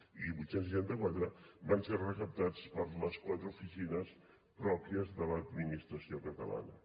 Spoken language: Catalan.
i vuit cents i seixanta quatre van ser recaptats per les quatre oficines pròpies de l’administració catalana